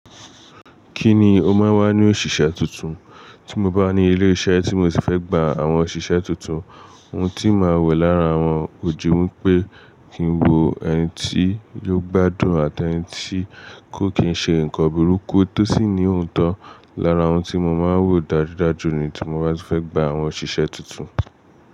Kí ni o máa n wá ní òṣìṣẹ́ tuntun? Tí mo bá ní ilé-iṣẹ́ tí mo sì fẹ́ gba àwọn òṣìṣẹ́ tuntun, ohun tí màá wò lára wọn ko ju wípé kí n wo ẹniti yóò gbádùn àti ẹniti kó kì n ṣe ǹkan burúkú tó sì ní òótọ́ lára ohun tí mo máa ń wò dájudajù ní tí mo bá ti fẹ́ gba àwọn òṣìṣẹ́ tuntun.